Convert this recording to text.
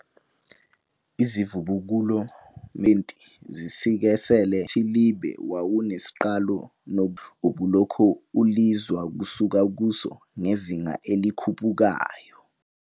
Izivubukulo kmekhulwini lama-20 zisikisele ukuthi umkhathilibe wawunesiqalo nokuthi umkhathi ubulokhu ulwiza kusuka kuso ngezinga elikhuphukayo.